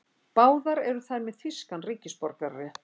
Báðar eru þær með þýskan ríkisborgararétt